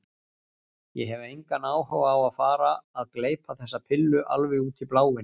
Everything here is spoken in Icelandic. Ég hef engan áhuga á að fara að gleypa þessa pillu alveg út í bláinn.